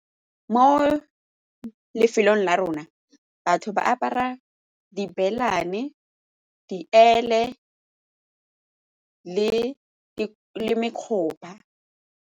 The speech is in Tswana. Mo lefelong la rona, batho ba apara di , diele le .